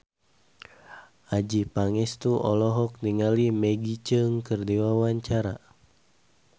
Adjie Pangestu olohok ningali Maggie Cheung keur diwawancara